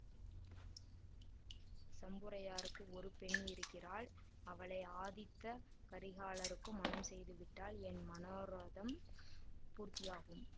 சம்புரையருக்கு ஒரு பெண் இருக்கிறாள் அவளை ஆதித்த கரிகாலருக்கு மணம் செய்து விட்டால் என் மனோரதம் பூர்த்தியாகும்